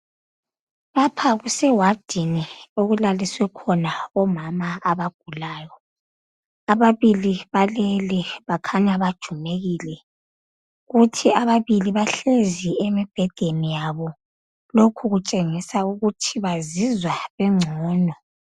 Lapha kusewadini okulaliswe khona omama abagulayo. Ababili balele, bakhanya bajumekile. Kuthi ababili bahlezi emibhedeni yabo. Lokhu kutshengisa ukuthi bazizwa bengcono.